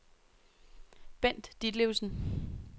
Bent Ditlevsen